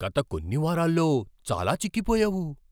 గత కొన్ని వారాల్లో చాలా చిక్కిపోయావు.